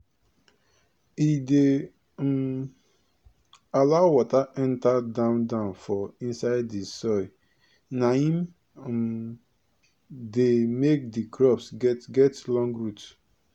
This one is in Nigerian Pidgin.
e dey um allow water enter down down for inside di soil naim um dey make di crops get get long root